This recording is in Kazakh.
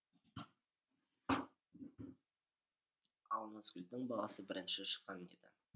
ал назгүлдің баласы бірінші шыққан еді